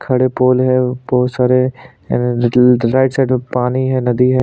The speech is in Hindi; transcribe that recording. खड़े पोल है और बहोत सारे अ र राईट साइड में पानी है नदी है।